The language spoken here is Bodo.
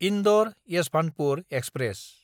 इन्दर–येसभान्तपुर एक्सप्रेस